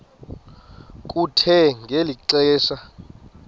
kuthe ngeli xesha